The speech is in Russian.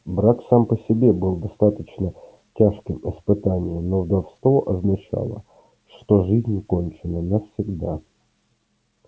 брак сам по себе был достаточно тяжким испытанием но вдовство означало что жизнь кончена навсегда